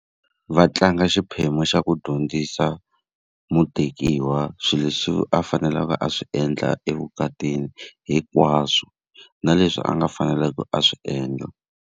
Va tlanga xiphemu xa ku dyondzisa mutekiwa swilo leswi a faneleke a swi endla evukatini hinkwaswo, na leswi a nga fanelangi a swi endla.